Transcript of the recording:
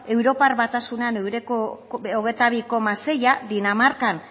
europar batasuna ehuneko hogeita bi koma seia dinamarkan